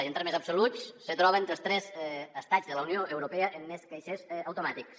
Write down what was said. i en termes absoluts se troba entre els tres estats de la unió europea amb més caixers automàtics